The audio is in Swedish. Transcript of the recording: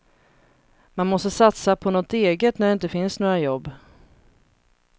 Man måste satsa på något eget när det inte finns några jobb.